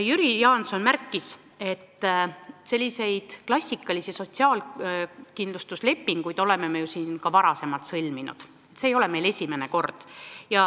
Jüri Jaanson märkis, et selliseid klassikalisi sotsiaalkindlustuslepinguid me oleme ju siin ka varem sõlminud, see ei ole esimene kord.